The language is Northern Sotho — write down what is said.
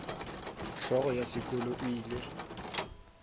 hlogo ya sekolo o ile